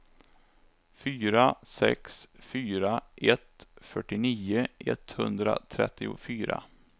fyra sex fyra ett fyrtionio etthundratrettiofyra